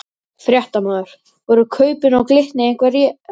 Fréttamaður: Voru kaupin á Glitni eitthvað rædd?